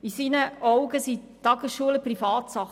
In seinen Augen sind die Tagesschulen Privatsache.